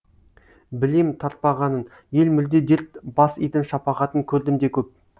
білемін тартпағанын ел мүлде дерт бас идім шапағатын көрдім де көп